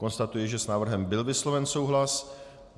Konstatuji, že s návrhem byl vysloven souhlas.